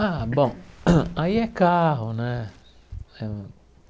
Ah, bom, aí é carro, né?